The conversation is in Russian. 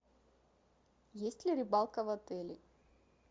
есть ли рыбалка в отеле